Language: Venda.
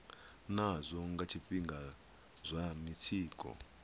nazwo nga zwifhinga zwa mitsiko